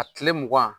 A kile mugan